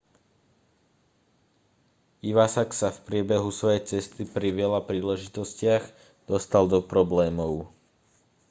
iwasak sa v priebehu svojej cesty pri veľa príležitostiach dostal do problémov